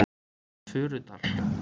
Furudal